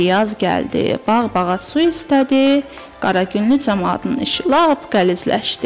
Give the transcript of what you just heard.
Elə ki yaz gəldi, bağ-bağa su istədi, Qaragünlü camaatının işi lap qəlizləşdi.